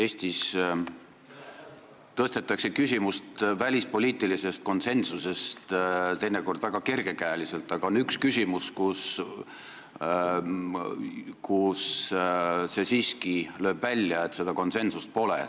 Eestis tõstetakse välispoliitilise konsensuse küsimust teinekord väga kergekäeliselt, aga on üks koht, kus lööb siiski välja see, et seda konsensust pole.